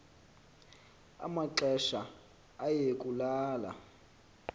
amaxesha aye kulala